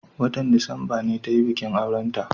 watan disamba ne tayi bikin aurenta